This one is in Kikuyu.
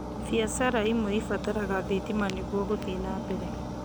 Biacara imwe ibataraga thitima nĩguo gũthiĩ nambere